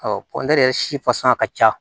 yɛrɛ si fasaa ka ca